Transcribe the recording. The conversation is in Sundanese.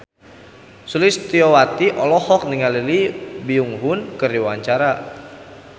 Sulistyowati olohok ningali Lee Byung Hun keur diwawancara